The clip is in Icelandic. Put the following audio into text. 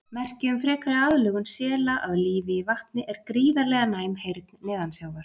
Merki um frekari aðlögun sela að lífi í vatni er gríðarlega næm heyrn neðansjávar.